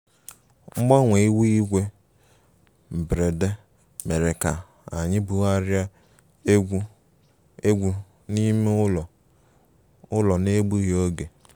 Mgbanwe ihu igwe mberede mere ka anyị bugharịa egwu egwu n'ime ụlọ ụlọ n'egbughị oge